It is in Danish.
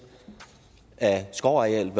af skovarealet